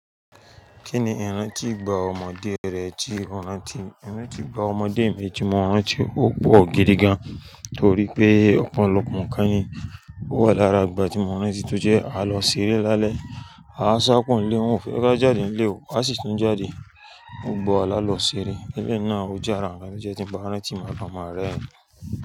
Kí ni ìrántí ìgbà ọmọdé rẹ tí ìrántí, ìrántí ìgbà ọmọdé mi tí mo rántí ó pọ̀ gidi gan-an torí pé ọ̀pọ̀lọpọ̀ nǹkan ni o wà lára ìgbà tí mo rántí tó jẹ́ a lọ ṣeré lálẹ́, a sá kúo nlé, wọ́n ò fẹ́ ká jáde nílè o a sì ti ń jáde gbogbo wa lá lọ ṣeré. Lẹ́yìn náà o jára nkan to jẹ́ tí n bá rántí maa kan ma rerin.